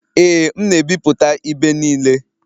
Ee, m na-ebipụta ibe niile